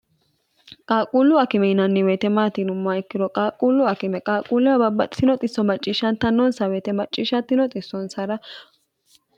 qaaquullu akime yinanni woyote maati yinummoha ikkiro qaaqquullu akime qaaquulleho babbaxitino xisso macciishshattannonsa woyite macciishshantino xissonsara